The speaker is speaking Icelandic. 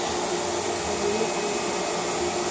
Það voru líka myndir af þeim.